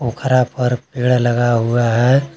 पोखरा पर पेड़ लगा हुआ है।